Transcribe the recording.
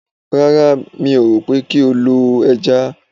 Ràrà mi ó rò pé kí ó ló ẹja